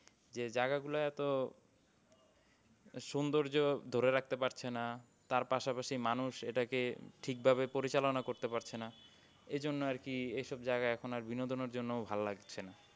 যে জায়গা গুলায় এতো সুন্দর্য ধরে রাখতে পারছে না তার পাশাপাশি মানুষ এটাকে ঠিক ভাবে পরিচালোনা করতে পারছে না। এজন্য আরকি এইসব জায়গা এখন আর বিনোদনের জন্য ভাল লাগছে না।